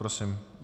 Prosím.